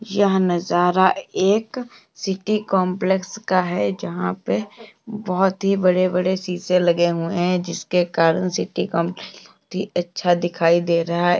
यह नजारा एक सिटी काम्प्लेक्स का है जहां पे बहुत ही बड़े बड़े शीशे लगे हुए हैं जिसके कारण सिटी काम्प्लेक्स भी अच्छा दिखाई दे रहा है।